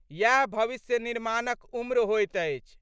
यैह भविष्य निर्माणक उम्र होइत अछि।